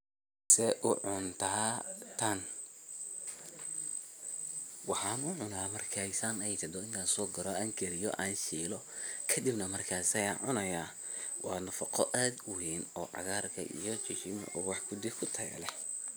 Waxan ucuno markey san ey tahdo in an soguro an kariyo an shilo kkadibna markas ayan cunaya, wa nafaqo ad uween oo cagarka iyo wax kudi kutaya leeh.